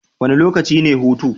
Wane lokaci ne hutu?